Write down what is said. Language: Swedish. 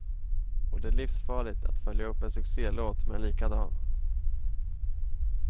Och det är livsfarligt att följa upp en succelåt med en likadan.